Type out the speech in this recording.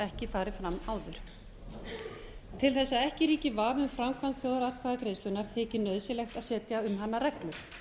ekki farið fram áður til að ekki ríki vafi um framkvæmd þjóðaratkvæðagreiðslunnar þykir nauðsynlegt að setja um hana reglur